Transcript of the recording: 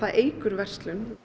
eykur verslun